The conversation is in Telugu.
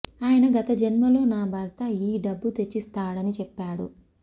ఆయన గత జన్మలో నా భర్త ఈ డబ్బు తెచ్చిస్తాడని చెప్పేడు